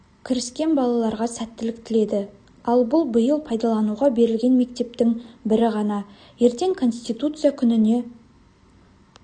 кіріскен балаларға сәттілік тіледі ал бұл биыл пайдалануға берілген мектептің бірі ғана ертең конституция күніне